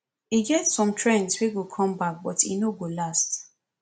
e get some trends wey go come back but e no dey last sha